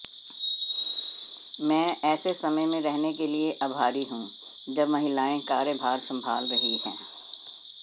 मैं ऐसे समय में रहने के लिए आभारी हूं जब महिलाएं कार्यभार संभाल रही हैं